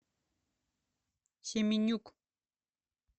семенюк